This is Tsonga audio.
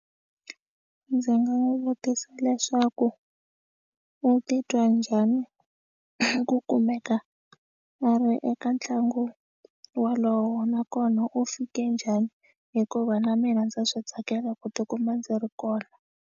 A ndzi nga n'wi vutisa leswaku u titwa njhani ku kumeka a ri eka ntlangu wolowo nakona u fike njhani hikuva na mina ndza swi tsakela ku tikuma ndzi ri kona.